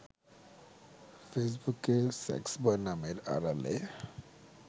ফেসবুকে সেক্সবয় নামের আড়ালে